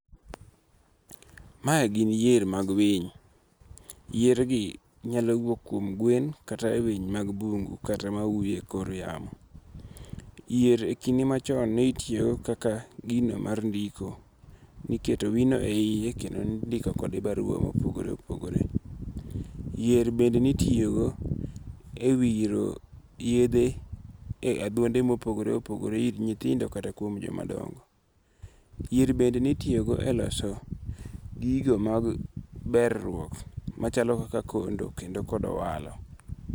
Mae gi yier mag winy, yiergi nyalo wuok kuom gwen kata e winy mag bungu kata mauyo e kor yamo, yier kinde machon nitiyogo kaka gino mar ndiko, niketo wino e hiye kendo nindiko kode barua mopogore opogore, yier bende nitiyogo e wiro yethe e athonde ma opogore opogore ir nyithindo kata kuom jomadongo', yier bende nitiyogo e loso gigo mag beruok machalo koka kondo kod owalo.